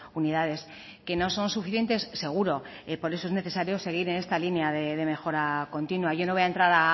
unidades que no son suficientes seguro por eso es necesario seguir en esta línea de mejora continua yo no voy a entrar